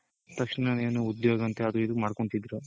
ತಕ್ಷಣಾನೇ ಏನೋ ಉದ್ಯೋಗ ಅಂತ ಅದು ಇದು ಮಾಡ್ಕೊಂತಿದ್ರು.